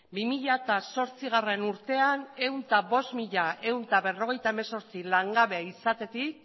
bi mila zortzigarrena urtean ehun eta bost mila ehun eta berrogeita hemezortzi langabe izatetik